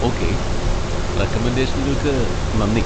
Okay, റെക്കമെൻഡേഷനുകൾക്ക് നന്ദി.